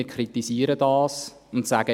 Wir kritisieren das und sagen: